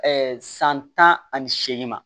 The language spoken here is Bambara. san tan ani seegin ma